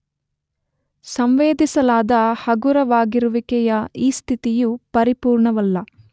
ಸಂವೇದಿಸಲಾದ ಹಗುರವಾಗಿರುವಿಕೆಯ ಈ ಸ್ಥಿತಿಯು ಪರಿಪೂರ್ಣವಲ್ಲ.